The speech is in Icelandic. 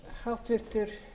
virðulegi forseti ég